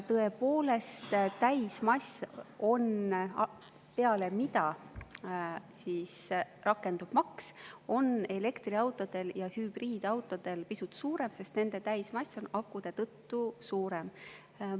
Tõepoolest, täismass, rakendub maks, on elektriautodel ja hübriidautodel akude tõttu pisut suurem.